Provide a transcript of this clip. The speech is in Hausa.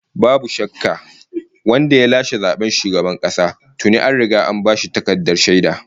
Babu shakka, wanda ya lashe zaben shugaban kasa tuni an riga an bashi takardar shaida!